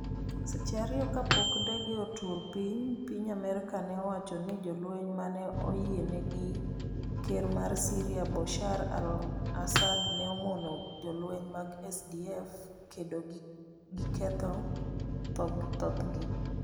Seche ariyo kapok ndege otur piny, piny Amerka ne owacho ni jolweny mane oyiene gi ker mar Syria Bashar al-Assad ne omono jolweny mag SDF kendo giketho thothgi.